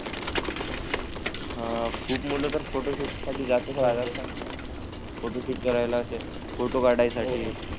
हा आणि खूप मुलं तर फोटोशूट साठी जात राहिले आता. फोटो शूट करायला फोटो काढासाठी हा.